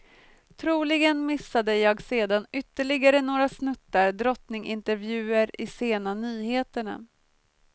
Troligen missade jag sedan ytterligare några snuttar drottningintervjuer i sena nyheterna.